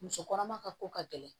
Muso kɔnɔma ka ko ka gɛlɛn